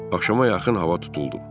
Axşama yaxın hava tutuldu.